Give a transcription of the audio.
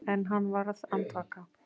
En hann varð andvaka.